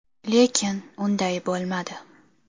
Lekin unday bo‘lmadi.